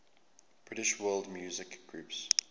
british world music groups